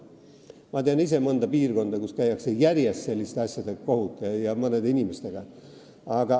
Ma tean ise mõnda piirkonda, kus mõne inimesega käiakse järjest kohut selliste asjade pärast.